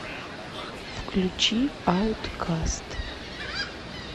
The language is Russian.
включи ауткаст